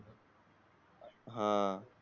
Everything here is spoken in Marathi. हा